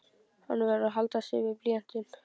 Hann verður að halda sig við blýantinn.